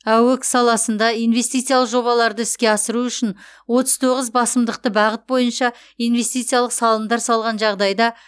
аөк саласында инвестициялық жобаларды іске асыру үшін отыз тоғыз басымдықты бағыт бойынша инвестициялық салымдар салған жағдайда